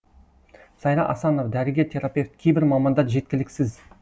сайра асанова дәрігер терапевт кейбір мамандар жеткіліксіз